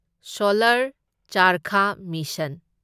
solar Charkha mission